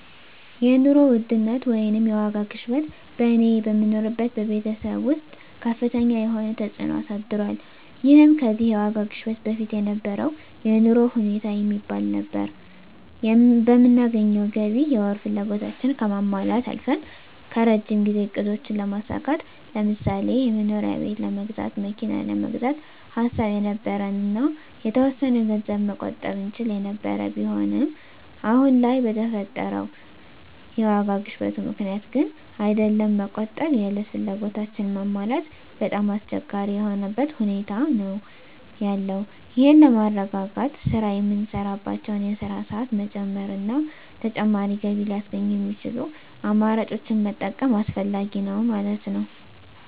የኑሮ ውድነት ወይንም የዋጋ ግሽበት በእኔ በምኖርበት በቤተሰብ ወስጥ ከፍተኛ የሆነ ተፅእኖ አሳድሯል ይህም ከዚህ የዋጋ ግሽበት በፊት የነበረው የኑሮ ሁኔታ የሚባል ነበር በምናገኘው ገቢ የወር ፍላጎታችን ከማሟላት አልፈን ከረጅም ጊዜ እቅዶችን ለማሳካት ለምሳሌ የመኖሪያ ቤት ለመግዛት መኪና ለመግዛት ሐሳብ የነበረን እና የተወሰነ ገንዘብ መቆጠብ እንችል የነበር ቢሆንም አሁን ለይ በፈጠረው የዋጋ ግሽበቱ ምክንያት ግን አይደለም መቆጠብ የእለት ፍላጎታችን ማሟላት በጣም አስቸጋሪ የሆነበት ሁኔታ ነዎ ያለው ይህን ለማረጋጋት ስራ የምንሳራባቸወን የስራ ሰአት መጨመር እና ተጨማሪ ገቢ ለያስገኙ የሚችሉ አማራጮችን መጠቀም አስፈላጊ ነዉ ማለት ነወ።